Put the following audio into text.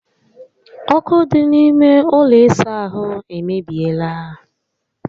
Ókụ́ dị n'ime ụlọ ịsa ahụ emebiela